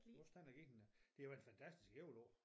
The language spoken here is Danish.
Vores den har givet en øh det har været et fantastisk æbleår